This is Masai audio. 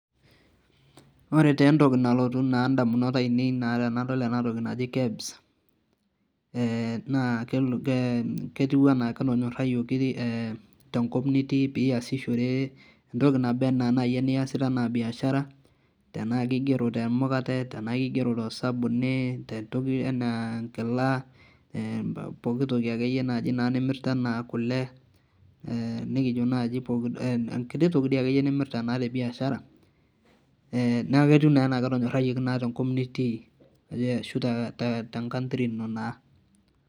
Ore nentoki na nalotu indamunot ainei naa tenadol enatoki naji KEBS, naa ketiu enaa ketonyorrayioki tenkop nitii piasishore entoki naba enaa nai eniasita enaa biashara, tenaa kigero temukate, tenaa kigero tosabuni, tentoki enaa enkila, poki toki akeyie naji nimirta enaa kule, nikijo nai poki toki di akeyie nimirta naa tebiashara, neku ketiu nenaa ketonyorrayieki naa tenkop nitii. Ashu tenkantri ino naa.